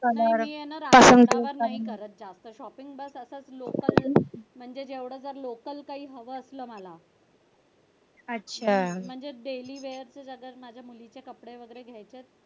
नाही करत जास्त shopping न करता लोकल म्हणजेच जर लोकल काही हवं असलं मला म्हणजेच daily wear ला कपडे वगैरे घ्यायचे असतील.